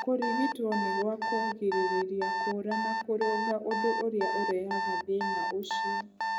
Kũrigitwo nĩ gwa kũgirĩrĩria kuura na kũrũnga ũndũ ũrĩa ũrehaga thĩna ũcio.